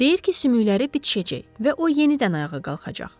Deyir ki, sümükləri bitişəcək və o yenidən ayağa qalxacaq.